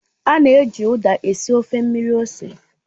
A na-eji Uda esi ofe mmiri ose